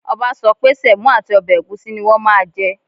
Ọba sọ pé semo àti ọbẹ̀ ẹ̀gúsí ní wọn máa jẹ